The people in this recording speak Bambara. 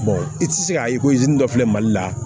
i tɛ se k'a ye ko i dɔ filɛ mali la